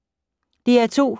DR2